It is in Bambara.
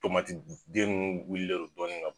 Tomati den wulilen do dɔɔni ka.